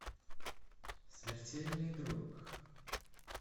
смертельный друг